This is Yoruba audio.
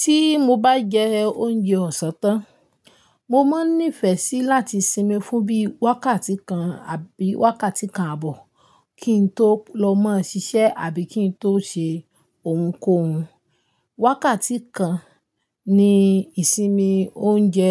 Tí mo bá jẹ oúnjẹ ọ̀sán tán, mo máa nífẹ̀ẹ́ sí láti sinmi fún bí wákàtí kan àbí wákàtí kan ààbọ̀ kí n tó lọ mọ ṣiṣẹ́ àbí kí n tó ṣe ohunkóhun. Wákàtí kan ni ìsinmi oúnjẹ